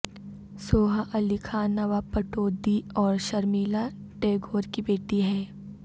سوہا علی خان نواب پٹودی اور شرمیلا ٹیگور کی بیٹی ہیں